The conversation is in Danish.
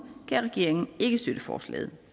kan regeringen ikke støtte forslaget